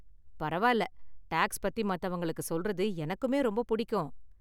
பரவாயில்ல, டாக்ஸ் பத்தி மத்தவங்களுக்கு சொல்றது எனக்குமே ரொம்ப புடிக்கும்.